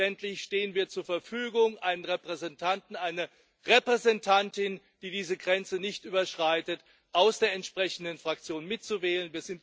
Selbstverständlich stehen wir zur Verfügung, einen Repräsentanten, eine Repräsentantin, die diese Grenze nicht überschreitet, aus der entsprechenden Fraktion mit zu wählen.